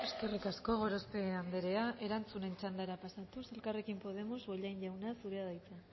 eskerrik asko gorospe andrea erantzunen txandara pasatuz elkarrekin podemos bollain jauna zurea da hitza